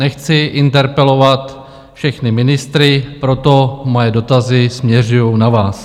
Nechci interpelovat všechny ministry, proto moje dotazy směřují na vás.